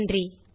நன்றி